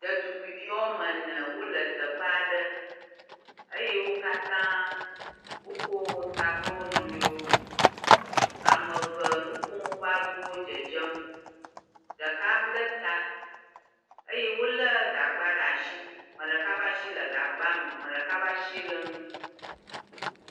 Ɖetugbivi woame ene wole teƒe aɖe eye wo katã wo kɔ ta kpe wonɔɛwo, ameve nukom woƒe aɖuwo dzedzem, ɖeka blɛta eye wole gagba ɖ'asi. 'meɖeka b'asi le gagbɛ me, 'meɖeka ƒ'asi le nu.